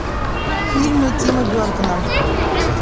фильмы тима бертона